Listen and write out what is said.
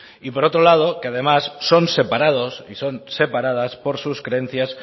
y por otro lado que además son separados y son separadas por sus creencias